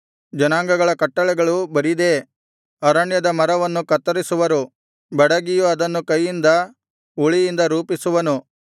ಜನಾಂಗಗಳ ಕಟ್ಟಳೆಗಳು ಬರಿದೇ ಅರಣ್ಯದ ಮರವನ್ನು ಕತ್ತರಿಸುವರು ಬಡಗಿಯು ಅದನ್ನು ಕೈಯಿಂದ ಉಳಿಯಿಂದ ರೂಪಿಸುವನು